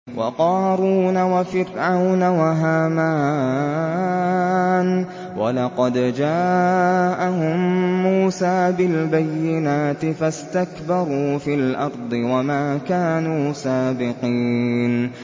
وَقَارُونَ وَفِرْعَوْنَ وَهَامَانَ ۖ وَلَقَدْ جَاءَهُم مُّوسَىٰ بِالْبَيِّنَاتِ فَاسْتَكْبَرُوا فِي الْأَرْضِ وَمَا كَانُوا سَابِقِينَ